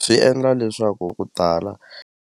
Swi endla leswaku ku tala.